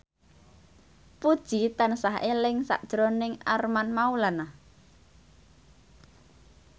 Puji tansah eling sakjroning Armand Maulana